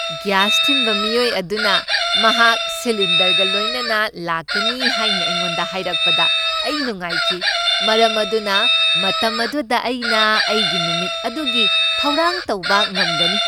Gas ꯊꯤꯟꯕ ꯃꯤꯑꯣꯏ ꯑꯗꯨꯅ ꯃꯍꯥꯛ ꯁꯤꯂꯤꯟꯗꯔꯒ ꯂꯣꯏꯅꯅ ꯂꯥꯛꯀꯅꯤ ꯍꯥꯏꯅ ꯑꯩꯉꯣꯟꯗ ꯍꯥꯏꯔꯛꯄꯗ ꯑꯩ ꯅꯨꯡꯉꯥꯏꯈꯤ, ꯃꯔꯝ ꯑꯗꯨꯅ ꯃꯇꯝ ꯑꯗꯨꯗ ꯑꯩꯅ ꯑꯩꯒꯤ ꯅꯨꯃꯤꯠ ꯑꯗꯨꯒꯤ ꯊꯧꯔꯥꯡ ꯇꯧꯕ ꯉꯝꯒꯅꯤ꯫